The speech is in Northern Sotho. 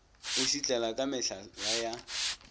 o šitlela ka mehlala ya